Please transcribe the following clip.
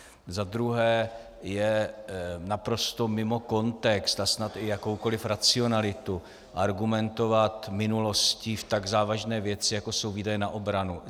Za druhé je naprosto mimo kontext a snad i jakoukoliv racionalitu argumentovat minulostí v tak závažné věci, jako jsou výdaje na obranu.